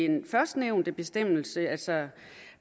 den førstnævnte bestemmelse altså